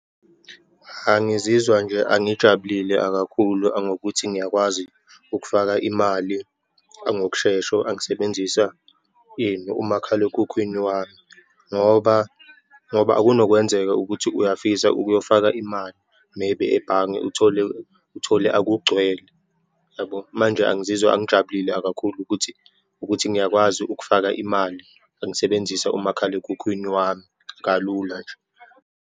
Angizizwa nje, angijabulile akakhulu ngokuthi ngiyakwazi ukufaka imali ngokushesha angisebenzisa, ini umakhalekhukhwini wami, ngoba, ngoba kunokwenzeka ukuthi uyafisa ukuyofaka imali, maybe ebhange uthole, uthole akugcwele, yabo. Manje angizizwa angijabulile kakhulu ukuthi ukuthi ngiyakwazi ukufaka imali angisebenzisa umakhalekhukhwini wami, kalula nje.